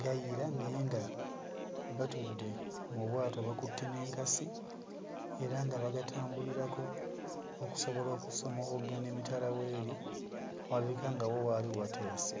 gayira naye nga batudde mu bwato bakutte n'enkasi era nga bagatambulirako okusobola okusomoka okugenda w'eri ewalabika nga wo waali wateese.